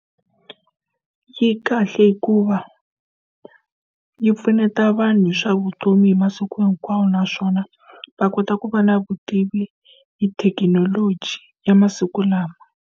Yi kahle hikuva yi pfuneta vanhu hi swa vutomi hi masiku hinkwawo naswona va kota ku va na vutivi hi thekinoloji ya masiku lawa.